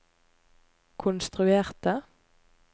konstruerte